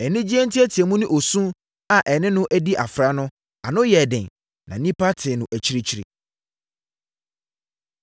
Anigyeɛ nteateamu ne osu a ɛne no adi afra no, ano yɛɛ den, na nnipa tee no akyirikyiri.